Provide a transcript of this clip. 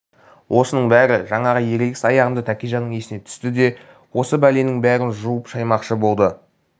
осының бәрі жаңағы ерегіс аяғында тәкежанның есіне түсті де енді осы бәленің бәрін жуып-шаймақшы болды